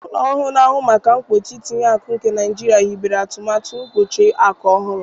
Ụlọ ọrụ na-ahụ maka mkpuchi itinye akụ nke Naijiria hibere atụmatụ mkpuchi akụ ọhụrụ.